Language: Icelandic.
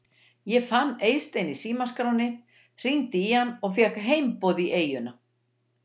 Ég fann Eystein í símaskránni, hringdi í hann og fékk heimboð í eyjuna.